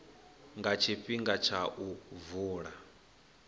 nga tshifhinga tsha u vula